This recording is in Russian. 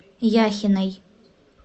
яхиной